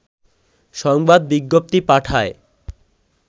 সংবাদ বিজ্ঞপ্তি পাঠায়